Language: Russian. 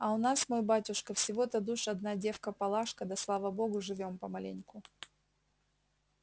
а у нас мой батюшка всего-то душ одна девка палашка да слава богу живём помаленьку